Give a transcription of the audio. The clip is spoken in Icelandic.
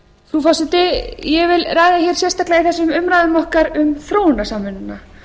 frú forseti ég vil ræða hér sérstaklega í þessum umræðum okkar um þróunarsamvinnuna